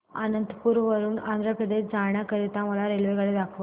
अनंतपुर वरून आंध्र प्रदेश जाण्या करीता मला रेल्वेगाडी दाखवा